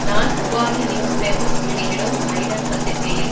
நான் Upali news papers வெளியிடும் Island பத்திரிகையில்